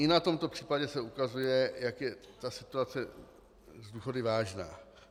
I na tomto případě se ukazuje, jak je ta situace s důchody vážná.